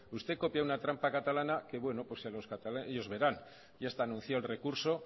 usted copia una trampa catalana que bueno ellos verán ya está anunciado el recurso